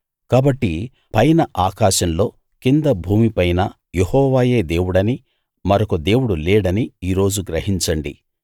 కాబట్టి పైన ఆకాశంలో కింద భూమిపైనా యెహోవాయే దేవుడనీ మరొక దేవుడు లేడనీ ఈరోజు గ్రహించండి